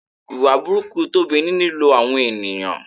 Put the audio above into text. Ìwà burúkú Tobi ni lílo àwọn ènìyàn.